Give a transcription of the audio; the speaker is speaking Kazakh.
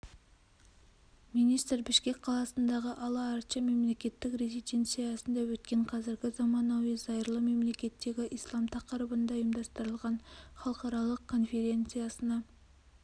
министр бішкек қаласындағы ала-арча мемлекеттік резиденциясында өткен қазіргі заманауи зайырлы мемлекеттегі ислам тақырыбында ұйымдастырылған халықаралық конференциясына